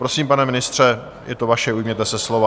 Prosím, pane ministře, je to vaše, ujměte se slova.